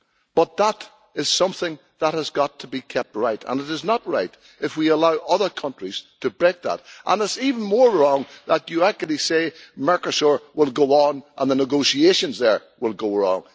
But that is something that has got to be kept right and it is not right if we allow other countries to break that. And it is even more wrong that you say talks with Mercosur will go on and the negotiations there will go on.